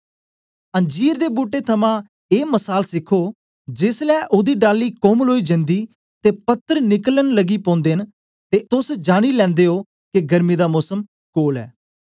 अंजीर दे बूट्टे थमां ऐ मसाल सिखो जेसलै ओदी डाली कोमल ओई जंदी ते पत्तर निकलन लगी पौंदे न ते तोस जानी लैंदे ओ के गर्मी दा मोसम कोल ऐ